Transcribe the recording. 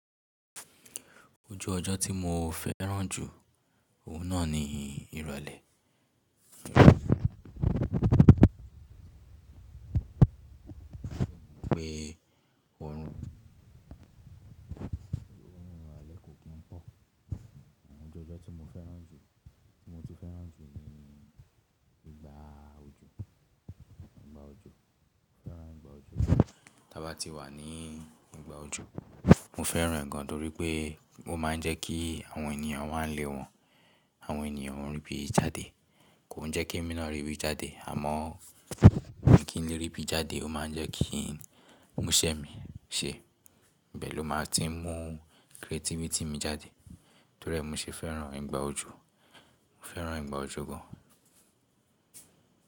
Ojo ojo ti mo féràn jù, òun náa ni ìrọ̀lẹ́. Ọ̀run ìrọ̀lẹ́ kò kín pọ̀. Àmo oju ojyo tí mo féràn jù, tí mo ti féràn jù ni ìgbà òjò, ìgbà òjò. Mo féràn ìgbà òjò gan. Tí a bá ti wà ní ìgbà òjò, mo féràn gan torí pé ó má ń jẹ́ kí àwọn ènìyàn wá nle wọn, àwọn ènìyàn o rí bí i jáde. Kò ń jẹ́ kí emi náà rí bí i jáde àmọ́ mí i kii le rí bí i jáde, ó má ń jẹ́ kí ń mú iṣẹ́ mi ṣe. Bẹ́ẹ̀ lo máa ti ń mú creativity mi jáde. Torí ẹ, mo ṣe féràn ìgbà òjò. Mo féràn ìgbà òjò gan.